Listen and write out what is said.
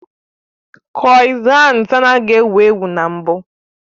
Kroissants anaghị ewu ewu na mbụ